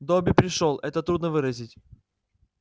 добби пришёл это трудно выразить